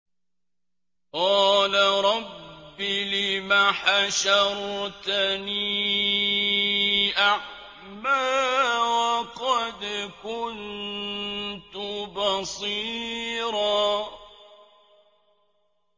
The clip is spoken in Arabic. قَالَ رَبِّ لِمَ حَشَرْتَنِي أَعْمَىٰ وَقَدْ كُنتُ بَصِيرًا